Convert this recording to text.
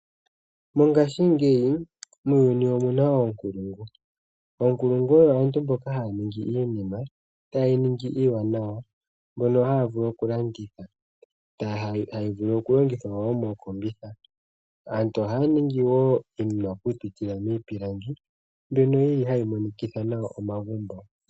Mongashingeyi muuyuni omu na oonkulungu. Oonkulungu oyo aantu mboka haya ningi iinima taye yi ningi iiwanawa, mbyono haya vulu okulanditha, hayi vulu woo okulongithwa mookombitha. Aantu ohaya ningi woo iinima okupitila miipilangi mbyono yi li hayi monikitha nawa omagumbo.